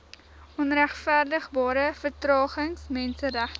onregverdigbare vertragings menseregte